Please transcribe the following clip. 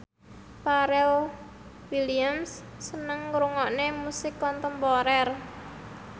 Pharrell Williams seneng ngrungokne musik kontemporer